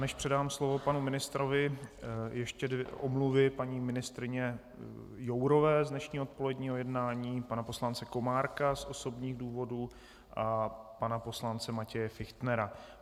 Než předám slovo panu ministrovi, ještě omluvy - paní ministryně Jourové z dnešního odpoledního jednání, pana poslance Komárka z osobních důvodů a pana poslance Matěje Fichtnera.